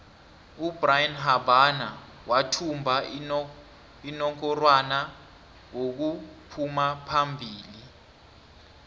ubrian habana wathumba inongorwana wokuphumaphombili